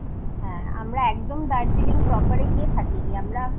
হ্যাঁ আমরা একদম দার্জিলিং proper এ